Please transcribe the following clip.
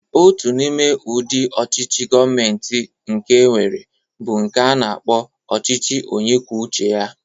Otu n'ime udị ọchịchị Govmenti nke enwere bụ nke a na-akpọ ọchịchị onyekwucheya.